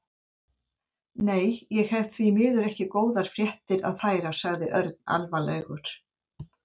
Nei, ég hef því miður ekki svo góðar fréttir að færa sagði Örn alvarlegur.